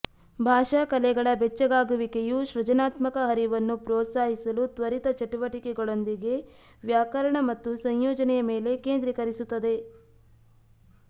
ಭಾಷಾ ಕಲೆಗಳ ಬೆಚ್ಚಗಾಗುವಿಕೆಯು ಸೃಜನಾತ್ಮಕ ಹರಿವನ್ನು ಪ್ರೋತ್ಸಾಹಿಸಲು ತ್ವರಿತ ಚಟುವಟಿಕೆಗಳೊಂದಿಗೆ ವ್ಯಾಕರಣ ಮತ್ತು ಸಂಯೋಜನೆಯ ಮೇಲೆ ಕೇಂದ್ರೀಕರಿಸುತ್ತದೆ